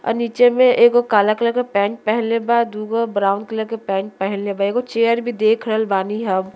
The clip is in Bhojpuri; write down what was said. और नीचे मे एगो काला कलर के पैंट पहिनले बा दू गो ब्राउन कलर के पैंट पहिनले बा। एगो चेयर भी देख रहल बानी हम।